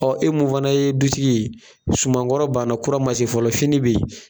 ɔƆ e mun fana ye duTigi ye, suman kɔrɔ banna kura ma se fɔlɔ fini be yen.